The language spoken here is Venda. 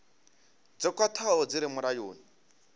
dzo khwathaho dzi re mulayoni